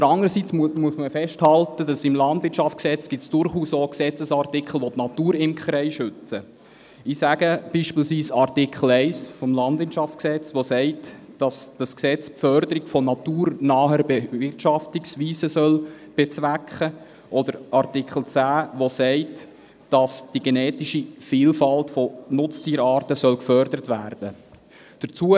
Demgegenüber muss man festhalten, dass es im KLwG durchaus auch Gesetzesartikel gibt, welche die Naturimkerei schützen, beispielsweise Artikel 1 KLwG, der besagt, dass das Gesetz die Förderung von naturnahen Bewirtschaftungsweisen bezwecken soll, oder Artikel 10, der sagt, dass die genetische Vielfalt von Nutztierarten gefördert werden soll.